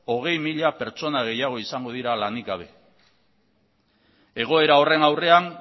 hogei mila pertsona gehiago izango dira lanik gabe egoera horren aurrean